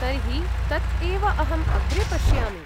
तर्हि तत् एव अहं अग्रे पश्यामि।